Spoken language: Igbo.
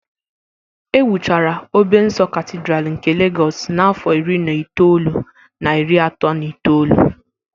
E wuchara a Obe nsọ Katidral nke Legọs n'afọ iri na itoolu na iri atọ na itoolu